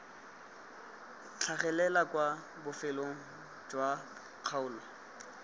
tlhagelela kwa bofelong jwa kgaolo